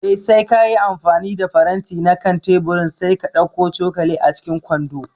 Eh, sai kayi amfani da faranti na kan teburin sai ka ɗauko cokali a cikin kwando